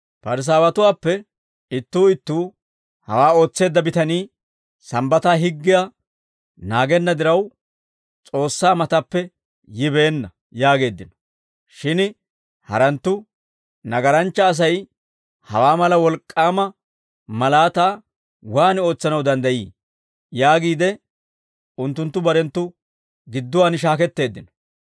Parisaawatuwaappe ittuu ittuu, «Hawaa ootseedda bitanii Sambbataa higgiyaa naagenna diraw, S'oossaa mataappe yibeenna» yaageeddino. Shin haranttu, «Nagaranchcha Asay hawaa mala wolk'k'aama malaataa waan ootsanaw danddayii?» yaagiide unttunttu barenttu gidduwaan shaaketteeddino.